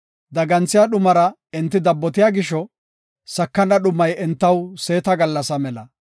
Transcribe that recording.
Daganthiya dhumara enti dabbotiya gisho, sakana dhumay entaw seeta gallasa mela.